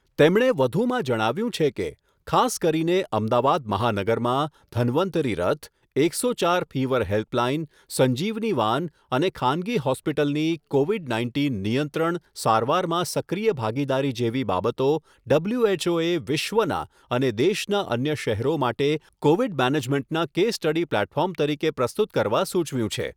તેમણે વધુમાં જણાવ્યુંં છે કે, ખાસ કરીને અમદાવાદ મહાનગરમાં ઘનવંતરી રથ, એકસો ચાર ફિવર હેલ્પલાઇન, સંજીવની વાન અને ખાનગી હોસ્પિટલની કોવિડ નાઇન્ટીન નિયંત્રણ, સારવારમાં સક્રિય ભાગીદારી જેવી બાબતો ડબલ્યુએચઓએ વિશ્વના અને દેશના અન્ય શહેરો માટે કોવિડ મેનેજમેન્ટના કેસ સ્ટડી પ્લેટફોર્મ તરીકે પ્રસ્તુત કરવા સુચવ્યું છે.